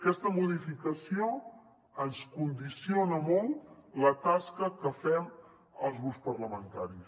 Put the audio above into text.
aquesta modificació ens condiciona molt la tasca que fem els grups parlamentaris